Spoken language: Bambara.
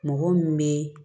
Mɔgɔ min bɛ